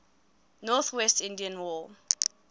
northwest indian war